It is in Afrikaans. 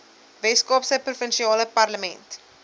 weskaapse provinsiale parlement